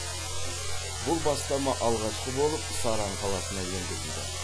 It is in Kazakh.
бұл бастама алғашқы болып саран қаласына енгізілді